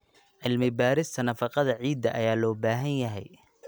Cilmi-baarista nafaqada ciidda ayaa loo baahan yahay.